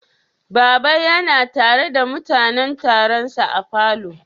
Baba ya na tare da mutanen Taron say a'falo?